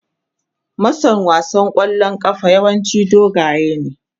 Mason wasan kwallon kafa yawanci dogaye ne.